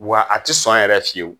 Wa a tɛ sɔn yɛrɛ fiyewu.